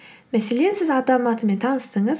мәселен сіз адам атымен таныстыңыз